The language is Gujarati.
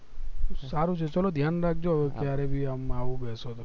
સારું છે ચલો ધ્યાન રાખજો હવે ક્યારે આવું બેસું તો